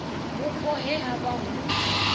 vhupo he ha vha hu